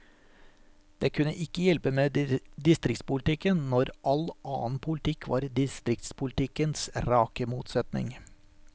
Det kunne ikke hjelpe med distriktspolitikken, når all annen politikk var distriktspolitikkens rake motsetning.